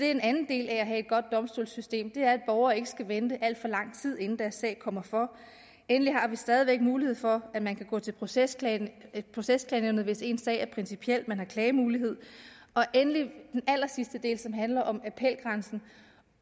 en anden del af at have et godt domstolssystem er at borgere ikke skal vente alt for lang tid inden deres sag kommer for har vi stadig væk mulighed for at man kan gå til procesbevillingsnævnet hvis ens sag er principiel man har klagemulighed og endelig den allersidste del som handler om appelgrænsen